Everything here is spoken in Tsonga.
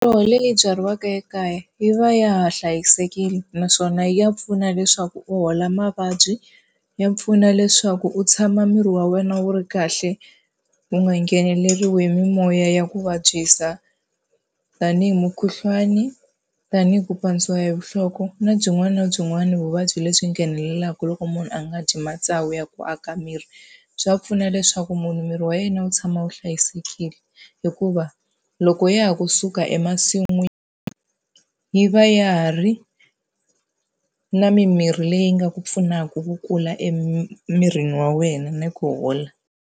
Miroho leyi byariweke ekaya yi va ya ha hlayisekile, naswona ya pfuna leswaku u hola mavabyi, ya pfuna leswaku u tshama miri wa wena wu ri kahle wu nga ngheneleriwi hi mimoya ya ku vabyisa. Tanihi mukhuhlwani, tanihi ku pandziwa hi nhloko na byin'wana na byin'wana vuvabyi lebyi nghenelelaka loko munhu a nga dyi matsavu ya ku aka miri. Swa pfuna leswaku munhu miri wa yena wu tshama wu hlayisekile, hikuva loko ya ha kusuka emasin'wini yi va ya ha ri na mimirhi leyi nga ku pfunaka ku kula emirini wa wena ni ku hola.